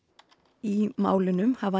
í málunum hafa